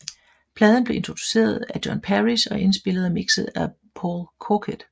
Pladen blev produceret af John Parish og indspillet og mixet af Paul Corkett